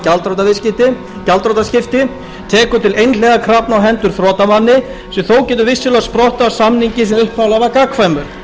laga um gjaldþrotaskipti tekur til einhliða krafna á hendur þrotamanni sem þó getur vissulega sprottið af samningi sem upphaflega var gagnkvæmur